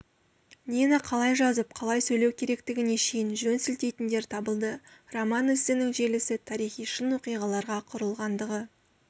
нені қалай жазып қалай сөйлеу керектігіне шейін жөн сілтейтіндер табылды роман-эссенің желісі тарихи шын оқиғаларға құрылғандығы